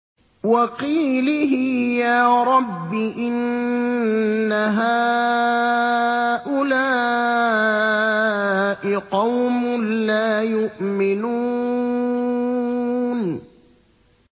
وَقِيلِهِ يَا رَبِّ إِنَّ هَٰؤُلَاءِ قَوْمٌ لَّا يُؤْمِنُونَ